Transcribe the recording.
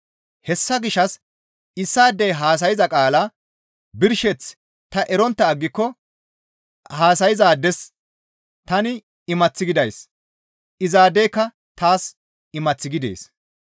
Hessa gishshas issaadey haasayza qaalaa birsheth ta erontta aggiko haasayzaades tani imath gidays; izaadeyka taas imath gidees.